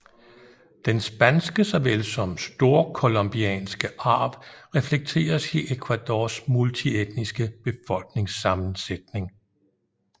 Den spanske såvel som storcolombianske arv reflekteres i Ecuadors multietniske befolkningssammensætning